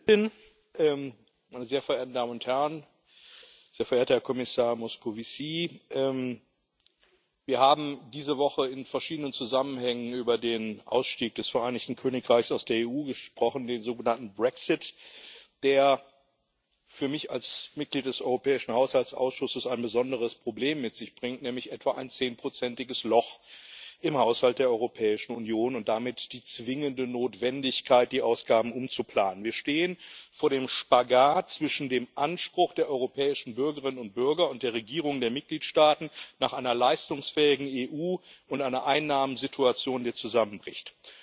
Frau Präsidentin, sehr verehrter Herr Kommissar Moscovici, sehr verehrte Damen und Herren! Wir haben diese Woche in verschiedenen Zusammenhängen über den Ausstieg des Vereinigten Königreichs aus der EU gesprochen, den sogenannten Brexit, der für mich als Mitglied des europäischen Haushaltsausschusses ein besonderes Problem mit sich bringt, nämlich ein etwa 10 iges Loch im Haushalt der Europäischen Union und damit die zwingende Notwendigkeit, die Ausgaben umzuplanen. Wir stehen vor dem Spagat zwischen dem Anspruch der europäischen Bürgerinnen und Bürger und der Regierungen der Mitgliedstaaten auf eine leistungsfähige EU und einer Einnahmensituation, die zusammenbricht.